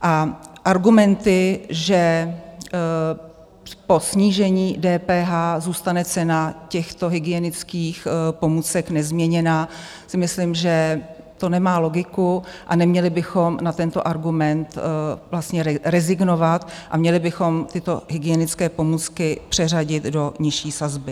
A argumenty, že po snížení DPH zůstane cena těchto hygienických pomůcek nezměněná, si myslím, že to nemá logiku, a neměli bychom na tento argument vlastně rezignovat a měli bychom tyto hygienické pomůcky přeřadit do nižší sazby.